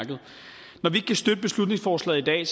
når vi ikke kan støtte beslutningsforslaget i dag